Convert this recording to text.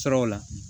Sɔrɔw la